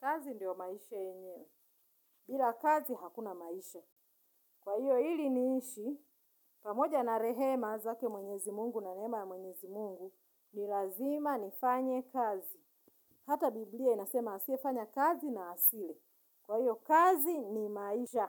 Kazi ndiyo maisha yenye bila kazi hakuna maisha. Kwa hivyo ili niishi, pamoja na rehema zake mwenyezi mungu na neema ya mwenyezi mungu, ni lazima nifanye kazi. Hata Biblia inasema asiyefanya kazi na hasile. Kwa hiyo kazi ni maisha.